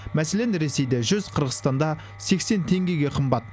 мәселен ресейде жүз қырғызстанда сексен теңгеге қымбат